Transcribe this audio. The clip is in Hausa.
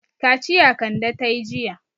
Kaciya Kande ta yi jiya.